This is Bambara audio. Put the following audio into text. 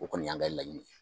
O kɔni y'an ka laɲini